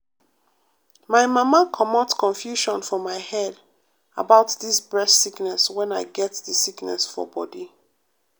my mama comot confusion for my head about dis breast sickness wen i get di sickness for bodi.